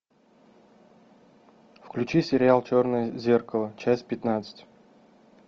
включи сериал черное зеркало часть пятнадцать